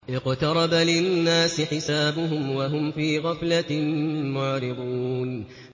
اقْتَرَبَ لِلنَّاسِ حِسَابُهُمْ وَهُمْ فِي غَفْلَةٍ مُّعْرِضُونَ